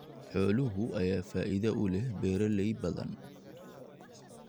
Xoolaha ayaa faa�iido u leh beeraley badan.